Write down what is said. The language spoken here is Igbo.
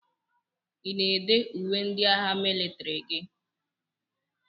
Ị na-èdé uwe ndị agha mịlịtrị gị?